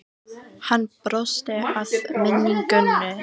Hann brosti að minningunni.